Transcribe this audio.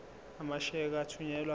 amasheke athunyelwa odwa